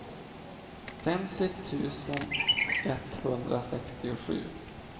femtio tusen etthundrasextiosju